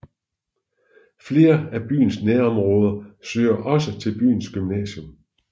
Flere af byen nærområder søger også til byens gymnasium